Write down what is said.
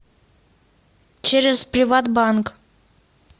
через приватбанк